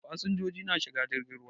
Fasinjoji na shiga jirgin ruwa.